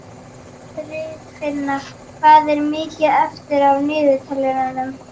Friðfinna, hvað er mikið eftir af niðurteljaranum?